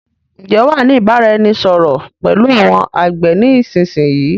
Ǹ jẹ́ wàá ni ìbáraẹnisọọ̀rọ̀ pẹ̀lú àwọn àgbẹ̀ ni ìsinsìnyí?